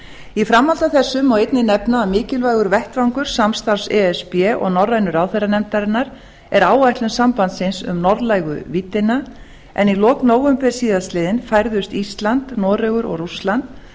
í framhaldi af þessu má einnig nefna að mikilvægur vettvangur samstarfs e s b og norrænu ráðherranefndarinnar er áætlun sambandsins um norðlægu víddina en í lok nóvember síðastliðinn færðust ísland noregur og rússland